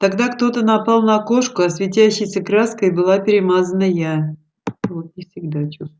тогда кто-то напал на кошку а светящейся краской была перемазана я